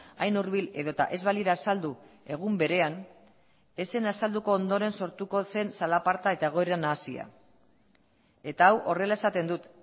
hain hurbil edota ez balira azaldu egun berean ez zen azalduko ondoren sortuko zen zalaparta eta egoera nahasia eta hau horrela esaten dut